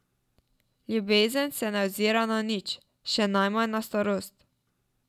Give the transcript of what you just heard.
Ljubezen se ne ozira na nič, še najmanj na starost.